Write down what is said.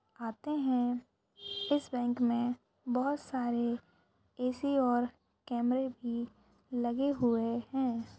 आते है इस बैंक मे बहुत सारे ए_सी और कैमेरे भी लगे हुए है।